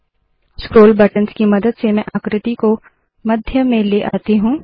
scroll buttons की मदद से मैं आकृति को मध्य में लती हूँ